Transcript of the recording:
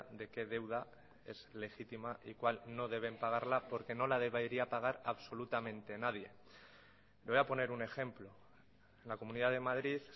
de qué deuda es legítima y cuál no deben pagarla porque no la debería pagar absolutamente nadie le voy a poner un ejemplo la comunidad de madrid